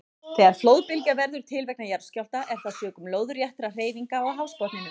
Þegar flóðbylgja verður til vegna jarðskjálfta er það sökum lóðréttra hreyfinga á hafsbotninum.